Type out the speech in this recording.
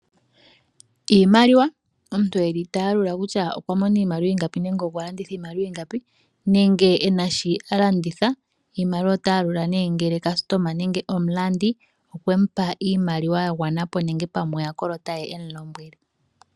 Iimaliwa, Omuntu eli ta yalula kutya okwa mona iimaliwa ingapi nenge okwa landitha iimaliwa ingapi nenge ena shi a landitha iimaliwa. Ota yalula nee ngele customa nenge omulandi okwe mu pa iimaliwa ya gwana po nenge pamwe oyakolota ye e mu lombwele.